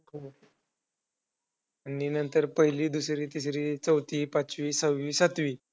नंतर पहिली, दुसरी, तिसरी, चौथी, पाचवी, सहावी, सातवी.